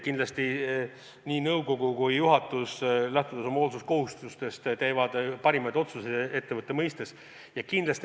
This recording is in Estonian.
Kindlasti nii nõukogu kui juhatus, lähtudes oma hoolsuskohustustest, teevad ettevõtte jaoks parimaid otsuseid.